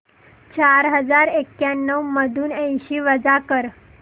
चार हजार एक्याण्णव मधून ऐंशी वजा कर